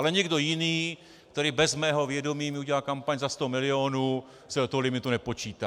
Ale někdo jiný, který bez mého vědomí mi udělá kampaň za sto milionů, se do toho limitu nepočítá.